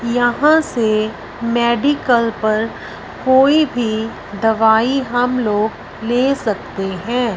यहां से मेडिकल पर कोई भी दवाई हम लोग ले सकते हैं।